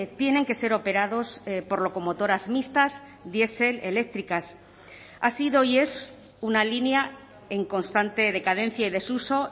tienen que ser operados por locomotoras mixtas diesel eléctricas ha sido y es una línea en constante decadencia y desuso